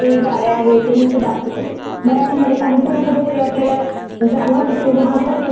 मराठी मध्ये काहीतरी कुठेतरी आपल्याला जाणवत कि बाबा खरंच असं होतंय किंवा होऊ शकत असं.